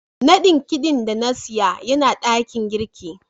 nadin kidin da na siya Yana dakin girki.